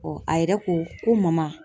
a yɛrɛ ko ko mama